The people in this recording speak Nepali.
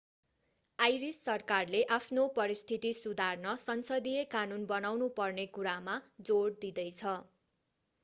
आइरिस सरकारले आफ्नो परिस्थिति सुधार्न संसदीय कानून बनाउनु पर्ने कुरामा जोड दिँदैछ